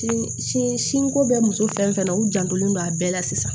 Sin sin sinko bɛ muso fɛn fɛn na u jantolen don a bɛɛ la sisan